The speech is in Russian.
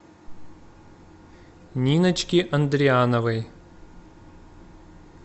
ниночки андриановой